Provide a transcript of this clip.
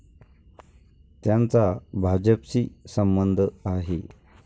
त्यांचा भाजपशी संबंध आहे.